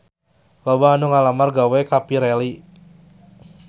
Loba anu ngalamar gawe ka Pirelli